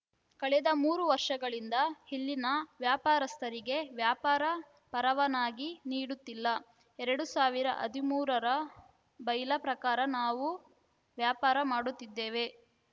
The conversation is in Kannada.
ಕಳೆದ ಮೂರು ವರ್ಷಗಳಿಂದ ಇಲ್ಲಿನ ವ್ಯಾಪಾರಸ್ಥರಿಗೆ ವ್ಯಾಪಾರ ಪರವಾನಗಿ ನೀಡುತ್ತಿಲ್ಲ ಎರಡ್ ಸಾವಿರದ ಹದಿಮೂರರ ಬೈಲಾ ಪ್ರಕಾರ ನಾವು ವ್ಯಾಪಾರ ಮಾಡುತ್ತಿದ್ದೇವೆ